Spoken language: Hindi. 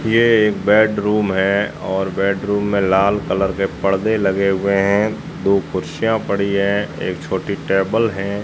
यह एक बेडरूम है और बेडरूम में लाल कलर के पडदे लगे हुए हैं दो कुर्सियां पड़ी है एक छोटी टेबल हैं।